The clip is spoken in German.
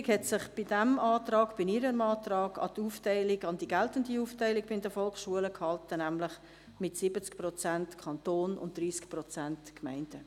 Die Regierung hat sich in ihrem Antrag an die geltende Aufteilung bei den Volksschulen gehalten, nämlich mit 70 Prozent Kanton und 30 Prozent Gemeinden.